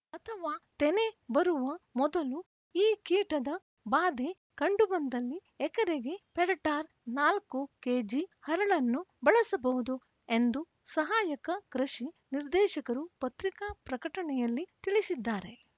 ಅಥವಾ ತೆನೆ ಬರುವ ಮೊದಲು ಈ ಕೀಟದ ಬಾಧೆ ಕಂಡುಬಂದಲ್ಲಿ ಎಕರೆಗೆ ಪೆರ್ಟಾರ ನಾಲ್ಕು ಕೆಜಿ ಹರಳನ್ನು ಬಳಸಬಹುದು ಎಂದು ಸಹಾಯಕ ಕೃಷಿ ನಿರ್ದೇಶಕರು ಪತ್ರಿಕಾ ಪ್ರಕಟಣೆಯಲ್ಲಿ ತಿಳಿಸಿದ್ದಾರೆ